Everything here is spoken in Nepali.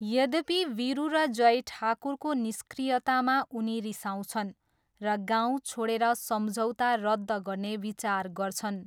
यद्यपि, वीरू र जय ठाकुरको निष्क्रियतामा उनी रिसाउँछन् र गाउँ छोडेर सम्झौता रद्द गर्ने विचार गर्छन्।